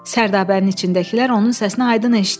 Sərdabənin içindəkilər onun səsini aydın eşitdi.